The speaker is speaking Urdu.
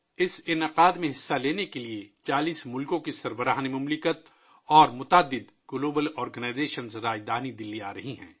اس تقریب میں شرکت کے لیے 40 ملکوں کے سربراہان اور کئی عالمی تنظیموں کے سربراہان دارالحکومت دلّی آ رہے ہیں